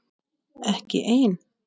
Ekki ein?